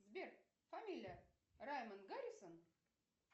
сбер фамилия раймон гаррисон